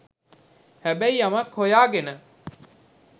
හැබැයි යමක් හොයාගෙන